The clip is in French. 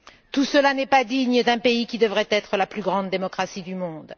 Tout cela n'est pas digne d'un pays qui devrait être la plus grande démocratie du monde.